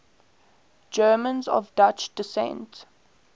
germans of dutch descent